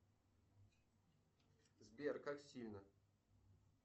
сбер как сильно